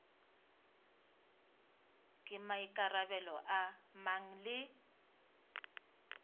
ke maikarabelo a mang le